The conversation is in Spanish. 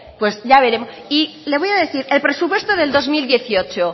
pues ya veremos y le voy a pedir el presupuesto del dos mil dieciocho